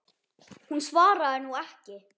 Hún svarar nú ekki.